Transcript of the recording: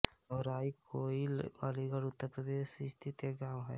धौराई कोइल अलीगढ़ उत्तर प्रदेश स्थित एक गाँव है